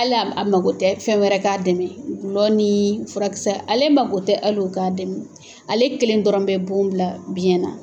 Hal'a mako tɛ fɛn wɛrɛ k'a dɛmɛ, gulɔ ni furakisɛ ale mako tɛ hali o k'a dɛmɛ ,ale kelen dɔrɔn bɛ bon bila biyɛn na